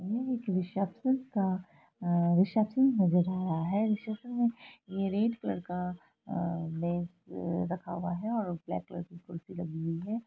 यह एक रिसेप्शन का रिसेप्शन नजर आ रहा है| रिसेप्शन में रेड कलर का आ मेज रखा हुआ है और ब्लैक कलर का कुर्सी लगी हुई है।